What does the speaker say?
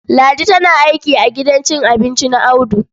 Ladi tana aiki a gidan cin abinci na Audu.